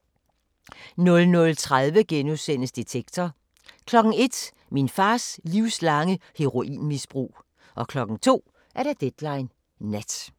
00:30: Detektor * 01:00: Min fars livslange heroinmisbrug 02:00: Deadline Nat